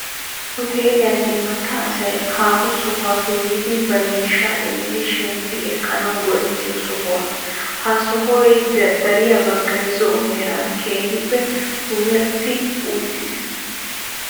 Huutelliyaan imatta asay haaho sohuwaappe yiidi ba miishshaa immidi shemppi ekkanawu go"ettiyoo sohuwaa. Ha sohoy dariyaa baggay zo"o meraan keehippe puulatti uttiis.